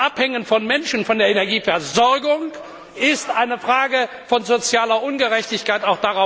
Das Abhängen von Menschen von der Energieversorgung ist eine Frage von sozialer Ungerechtigkeit.